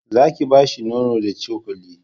za ki bashi nonon da cokali